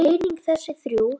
og einnig þessi þrjú